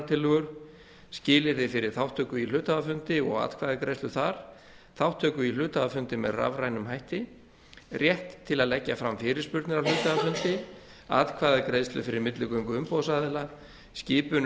ályktunartillögur skilyrði fyrir þátttöku í hluthafafundi og atkvæðagreiðslu þar þátttöku í hluthafafundi með rafrænum hætti rétt til að leggja fram fyrirspurnir á hluthafafundi atkvæðagreiðslu fyrir milligöngu umboðsaðila skipun